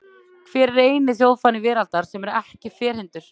Hver er eini þjóðfáni veraldar sem er ekki ferhyrndur?